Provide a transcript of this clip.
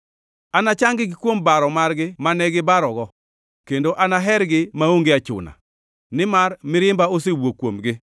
“Anachang-gi kuom baro margi mane gibarogo, kendo anahergi maonge achuna, nimar mirimba osewuok kuomgi.